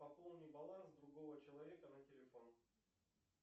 пополни баланс другого человека на телефон